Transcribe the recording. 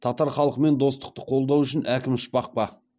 татар халқымен достықты қолдау үшін әкім ұшпақ па